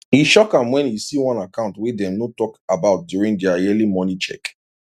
e shock am when e see one account wey dem no talk about during their yearly money check